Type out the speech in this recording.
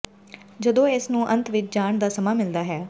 ਜਦੋਂ ਇਸ ਨੂੰ ਅੰਤ ਵਿਚ ਜਾਣ ਦਾ ਸਮਾਂ ਮਿਲਦਾ ਹੈ